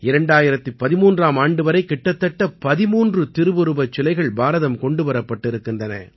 2013ஆம் ஆண்டு வரை கிட்டத்தட்ட 13 திருவுருவச் சிலைகள் பாரதம் கொண்டு வரப்பட்டிருக்கின்றன